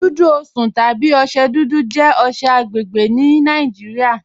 Dùdú Osùn tàbí ọṣẹ̀ dúdú jẹ̀ ọṣẹ̀ agbẹ́gbẹ́ ní Nàìjíríà.